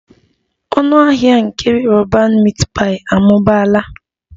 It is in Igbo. Ọnụ ahịa nke roban meat pie amụbaala